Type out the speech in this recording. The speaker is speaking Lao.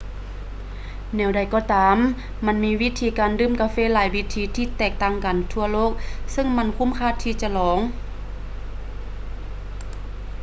ແນວໃດກໍຕາມ ມັນມີວິທີການດື່ມກາເຟຫຼາຍວິທີທີ່ແຕກຕ່າງກັນທົ່ວໂລກເຊິ່ງມັນຄຸ້ມຄ່າທີ່ຈະລອງ